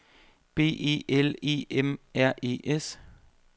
B E L E M R E S